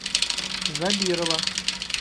забирова